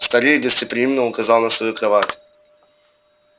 старик гостеприимно указал на свою кровать